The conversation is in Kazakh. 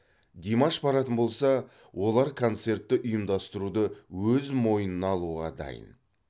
димаш баратын болса олар концертті ұйымдастыруды өз мойынына алуға дайын